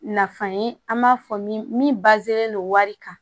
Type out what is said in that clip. Nafa ye an b'a fɔ min wari kan